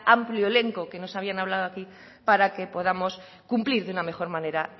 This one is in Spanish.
amplio elenco que nos habían hablado aquí para que podamos cumplir de una mejor manera